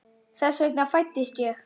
Þess vegna fæddist ég.